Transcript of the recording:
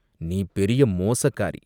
"நீ பெரிய மோசக்காரி!